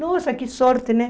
Nossa, que sorte, né?